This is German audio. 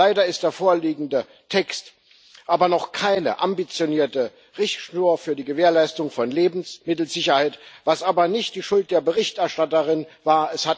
Leider ist der vorliegende Text aber noch keine ambitionierte Richtschnur für die Gewährleistung von Lebensmittelsicherheit, was aber nicht die Schuld der Berichterstatterin war